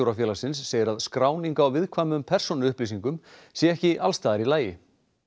Skólastjórafélagsins segir að skráning á viðkvæmum persónuupplýsingum sé ekki alls staðar í lagi